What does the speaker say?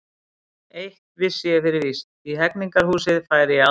Eitt vissi ég fyrir víst: í Hegningarhúsið færi ég aldrei aftur.